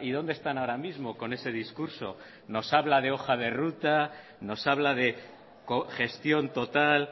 y dónde están ahora mismo con ese discurso nos habla de hoja de ruta nos habla de gestión total